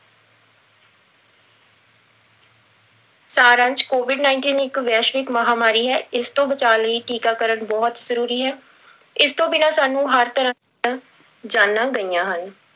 ਸਾਰ ਅੰਸ਼ covid nineteen ਇੱਕ ਵੈਸ਼ਵਿਕ ਮਹਾਂਮਾਰੀ ਹੈ, ਇਸ ਤੋਂ ਬਚਾਅ ਲਈ ਟੀਕਾਕਰਨ ਬਹੁਤ ਜ਼ਰੂਰੀ ਹੈ, ਇਸ ਤੋਂ ਬਿਨਾਂ ਸਾਨੂੰ ਹਰ ਤਰ੍ਹਾਂ ਜਾਨਾਂ ਗਈਆਂ ਹਨ।